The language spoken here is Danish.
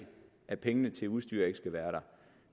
at pengene til udstyret ikke skal være der